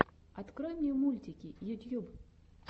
открой мне мультики ютьюб